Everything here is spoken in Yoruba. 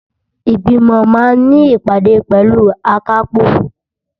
Ìgbìmọ̀ máa ní ìpàdé pẹ̀lú akápò.